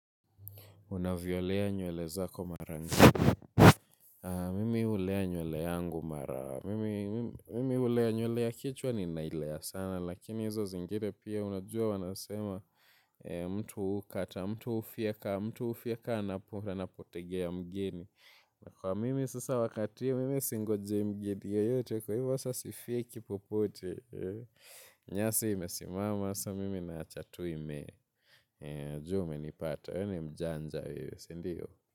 Una violea nywele zako mara ngapi. Mimi ulea nywele yangu mara. Mimi ulea nywele ya kichwa ninailea sana. Lakini hizo zingine pia unajua wanasema mtu ukata, mtu ufyeka, mtu ufyeka anapotegea mgeni. Kwa mimi sasa wakati ya mimi singojei mgeni yeyote kwa hivyo sasa sifyeki popote. Nyasi imesimama, sa mimi naacha tu imee. Jua umenipata. Wewe ni mjanja wewe, sindiyo.